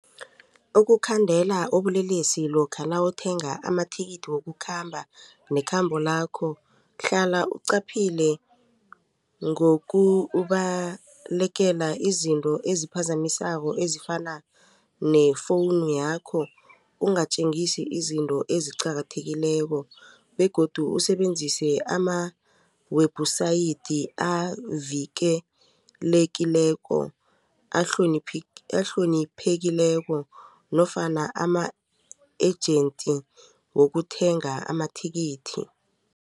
Ukukhandela ubulelesi lokha nawuthenga amathikithi wokukhamba nekhamba lakho hlala uqaphile ngokubalekela izinto eziphazamisako ezifana ne-phone yakho ungatjengisi izinto eziqakathekileko begodu usebenzise ama-website avikelelekileko ahloniphekileko nofana ama-agent wokuthenga amathikithi.